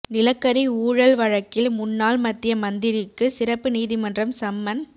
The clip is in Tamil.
நிலக்கரி ஊழல் வழக்கில் முன்னாள் மத்திய மந்திரிக்கு சிறப்பு நீதிமன்றம் சம்மன்